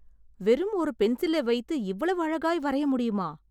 வெறும் ஒரு பென்சிலை வைத்து இவ்வளவு அழகாய் வரைய முடியுமா ?